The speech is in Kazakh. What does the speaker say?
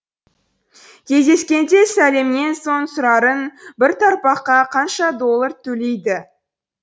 кездескенде сәлемнен соң сұрарың бір тақпаққа қанша доллар төлейді